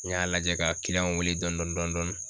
N y'a lajɛ ka w weele dɔn dɔn dɔn dɔni